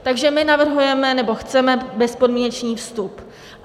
Takže my navrhujeme nebo chceme bezpodmínečný vstup.